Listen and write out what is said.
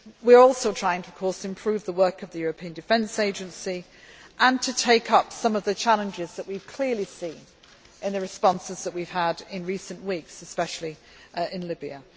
forward. We are also trying to improve the work of the European Defence Agency and to take up some of the challenges that we have clearly seen in the responses that we have had in recent weeks, especially